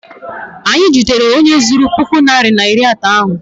Anyị jidere onye zuru puku naịra na iri atọ ahụ.